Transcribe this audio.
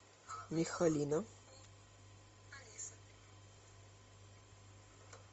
михалина